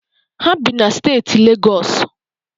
Ha bi na steeti Legọsụ.